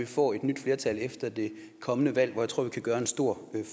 får et nyt flertal efter det kommende valg der tror jeg vi kan gøre en stor